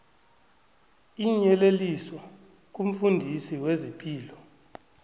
iinyeleliso kumfundisi wezepilo